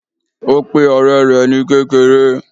Ó pe òré rè ni kékeré